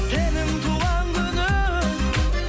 сенің туған күнің